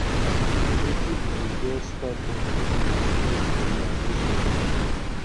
wetin be di best type of music to play for relaxation